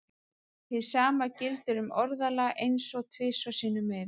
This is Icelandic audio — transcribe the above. Hið sama gildir um orðalag eins og tvisvar sinnum meira.